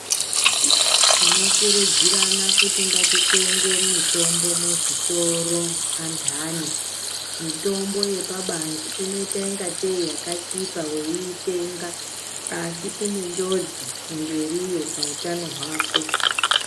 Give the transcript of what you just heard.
Tinokurudzirana kuti ngatitenge mitombo muzvitoro andani. Mitombo yepabanze inoita ingatei yakachipa weiitenga asi ine njodzi kumberiyo pautano hwako.